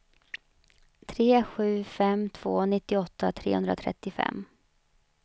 tre sju fem två nittioåtta trehundratrettiofem